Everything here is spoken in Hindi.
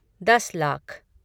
दस लाख